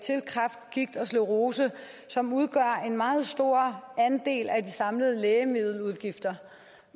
kræft gigt og sklerose som udgør en meget stor andel af de samlede lægemiddeludgifter